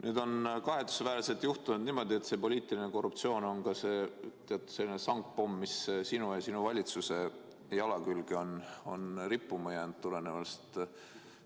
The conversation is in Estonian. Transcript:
Nüüd on kahetsusväärselt juhtunud niimoodi, et poliitiline korruptsioon on nagu sangpomm, mis on sinu ja sinu valitsuse jala külge rippuma jäänud tulenevalt